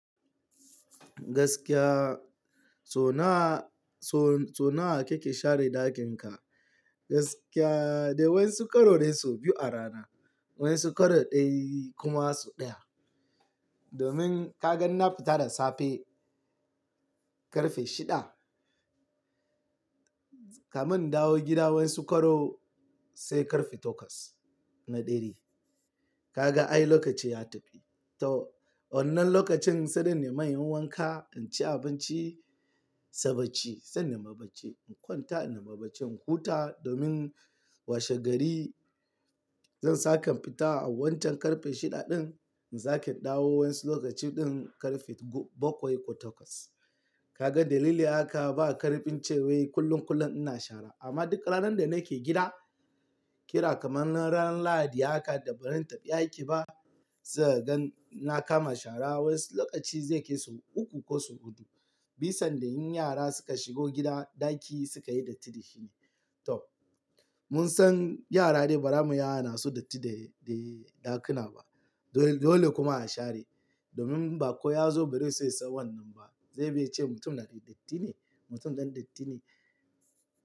Gaskiya, sau nawa, sau-sau nawa kake share dakinka? Gaskiya dai wai su karo dai sau biyu a rana, wai su karo ɗai kuma su ɗaya. Domin ka gan na fita da safe ƙarfe shida, kamin in dawo gida wa in su karo sai ƙarfe takwas na dare. Kaga ai lokaci ya tafi. To wannan lokacin sai dai in nema in yi wanka, in ci abinci, sabaci, sai na maban ci, in kwanta, in maban ci, in huta domin washe gari zan sake fita a wannan ƙarfe shida ɗin, zan sake ɗawowa sai lokaci ɗin ƙarfe bakwai ko takwas. Kaga dalili haka ba ƙarfin cewa kullum kullum ina shara amma duk ranar da nake gida, kira kamar ran Lahadi haka da ba na yin tafiya aiki ba, sai ka gan na kama shara wai lokaci zai kai su uku ko su huɗu. Bisan da yin yara suka shigo gida ɗaki suka yi datti, shine. To mun san yara dai ba ramu yara na su datti dai dai ɗakuna ba. Dole dole kuma a share domin ba ko ya zo bari sai san wannan ba, zai biya ce mutum da dai datti ne, mutum dan datti ne.